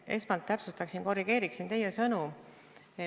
Esmalt täpsustaksin, korrigeeriksin teie sõnu.